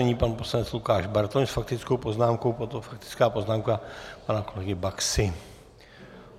Nyní pan poslanec Lukáš Bartoň s faktickou poznámkou, potom faktická poznámka pana kolegy Baxy.